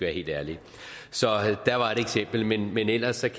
helt ærlige så der var et eksempel men men ellers